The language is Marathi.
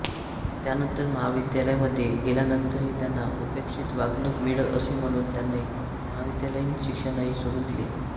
त्यानंतर महाविद्यालयामध्ये गेल्यानंतरही त्यांना उपेक्षित वागणूक मिळत असे म्हणून त्यांनी महाविद्यालयीन शिक्षणही सोडून दिले